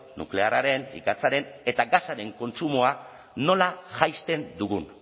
nuklearraren ikatzaren eta gasaren kontsumoa nola jaisten dugun